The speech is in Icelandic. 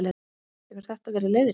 Hefur þetta verið leiðrétt